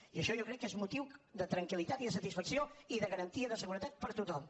i això jo crec que és motiu de tranquil·litat i de satisfacció i de garantia de seguretat per a tothom